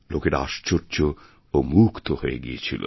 লোকেরা আশ্চর্য ও মুগ্ধ হয়েগিয়েছিল